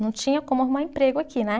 Não tinha como arrumar emprego aqui, né?